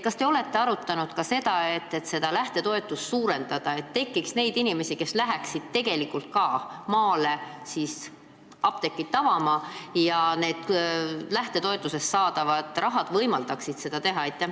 Kas te olete arutanud ka lähtetoetuse suurendamist, et tuleks neid inimesi, kes läheksid ka tegelikult maale apteeki avama, sest toetusraha võimaldaks seda teha?